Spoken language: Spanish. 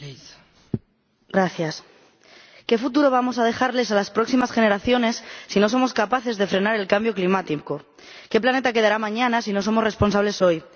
Señora Presidenta, ¿qué futuro vamos a dejarles a las próximas generaciones si no somos capaces de frenar el cambio climático? ¿Qué planeta quedará mañana si no somos responsables hoy?